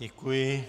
Děkuji.